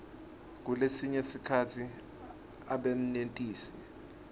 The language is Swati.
kulesinye sikhatsi abenetisi